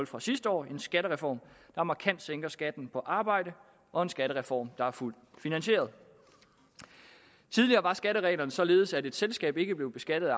fra sidste år en skattereform der markant sænker skatten på arbejde og en skattereform der er fuldt finansieret tidligere var skattereglerne således at et selskab ikke blev beskattet af